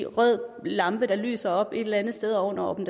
rød lampe der lyser op et eller andet sted oven over dem